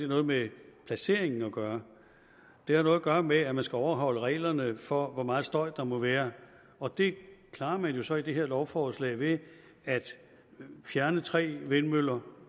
noget med placeringen at gøre det har noget at gøre med at man skal overholde reglerne for hvor meget støj der må være og det klarer man jo så i det her lovforslag ved at fjerne tre vindmøller